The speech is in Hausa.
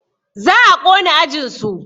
Za a ƙona ajinsu